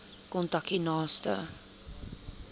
kontak u naaste